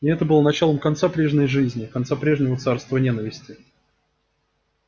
и это было началом конца прежней жизни конца прежнего царства ненависти